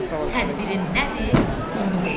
Tədbirin nədir, onu de.